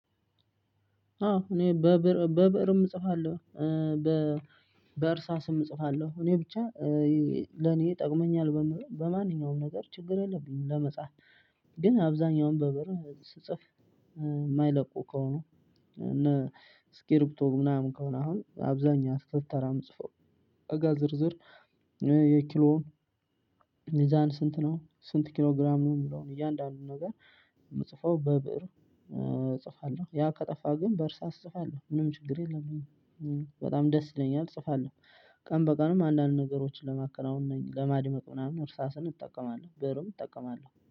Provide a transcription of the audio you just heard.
አዎ እኔ በብእርም እጽፋለሁ በእርሳስም እጽፋለሁ እኔ ብቻ ለኔ ጠቅሞኛል በምለው በማንኛውም ነገር ችግር የለብኝም ለመጻፍ። ግን አብዛኛውን በብእር ስጽፍ የማይለቁ ከሆኑ እነ እስክርቢቶ ምናምን ከሆነ አሁን አብዛኛ ስክር ተራ የምጽፈው እቃ ዝርዝር የኪሎ ሚዛን ስንት ነው? ስንት ኪሎ ግራም ነው? የሚለውን እያንዳንዱን ነገር የምጽፈው በብእር እጽፋለሁ ያ ከጠፋ ግን በ እርሳስ እጽፋለሁ ምንም ችግር የለብኝም በጣም ደስ ይለኛል እጽፋለሁ። ቀን በቀንም አንዳንድ ነገሮችን ለማከናወን እና ለማድመቅ ምናምን እርሳስን እጠቀማለሁ ብዕርም እጠቀማለሁ